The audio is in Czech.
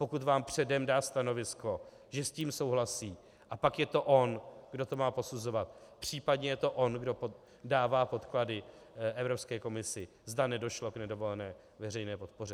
Pokud vám předem dá stanovisko, že s tím souhlasí, a pak je to on, kdo to má posuzovat, případně je to on, kdo dává podklady Evropské komisi, zda nedošlo k nedovolené veřejné podpoře.